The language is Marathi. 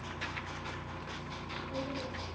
होग.